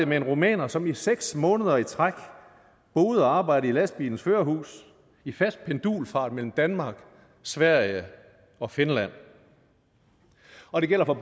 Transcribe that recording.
med en rumæner som i seks måneder i træk boede og arbejdede i lastbilens førerhus i fast pendulfart mellem danmark sverige og finland og det gælder for